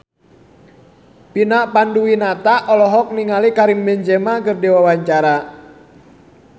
Vina Panduwinata olohok ningali Karim Benzema keur diwawancara